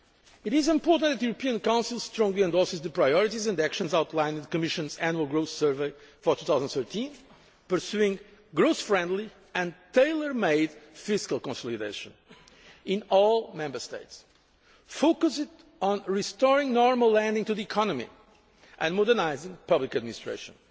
It is important that the European Council strongly endorses the priorities and actions outlined in the Commission's Annual Growth Survey for 2013, pursuing growth friendly and tailor made fiscal consolidation in all Member States, focused on restoring normal lending to the economy and modernising public administration.